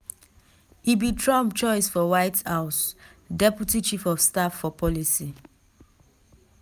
e be trump choice for white house deputy chief of staff for policy.